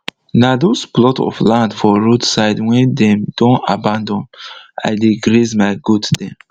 na dos plot of land for roadside wey dem don abandon i dey graze my goat dem